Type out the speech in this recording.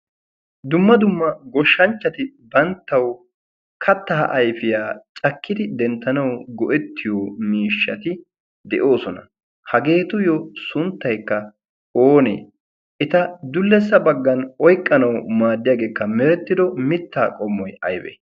dumma dumma goshshanchchati banttawu kattaa aifiyaa cakkidi denttanawu go7ettiyo miishshati de7oosona. hageetuyyo sunttaikka oonee? eta dullessa baggan oiqqanawu maaddiyaageekka merettido mittaa qommoi aibe?